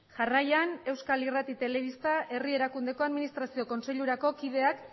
jarraian euskal irrati telebista herri erakundeko administrazio kontseilurako kideak